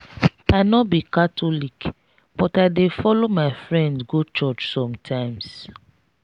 i no be catholic but i dey follow my friend go church sometimes.